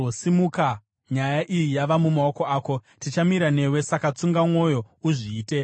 Simuka; nyaya iyi yava mumaoko ako. Tichamira newe, saka, tsunga mwoyo uzviite.”